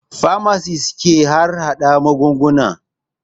Famasit ke harhaɗa magunguna